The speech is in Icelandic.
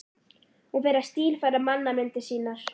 Hún fer að stílfæra mannamyndir sínar.